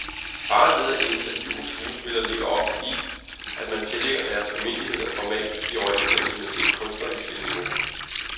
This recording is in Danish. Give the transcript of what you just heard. Faren ved at interviewe skuespillere ligger ofte i, at man tillægger deres almindeligheder format i overensstemmelse med det kunstneriske niveau.